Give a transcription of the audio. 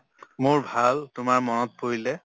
মোৰ ভাল তোমাৰ মনত পৰিলে